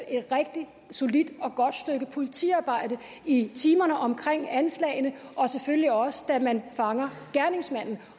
et rigtig solidt og godt stykke politiarbejde i timerne omkring anslagene og selvfølgelig også da man fanger gerningsmanden